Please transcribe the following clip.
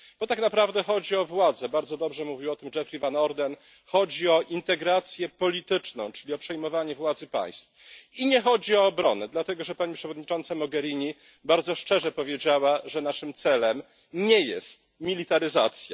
Bo tak naprawdę chodzi o władzę bardzo dobrze mówił o tym Geoffrey Van Orden chodzi o integrację polityczną, czyli przejmowanie władzy państw, i nie chodzi o obronę, dlatego że pani przewodnicząca Mogherini bardzo szczerze powiedziała, że naszym celem nie jest militaryzacja.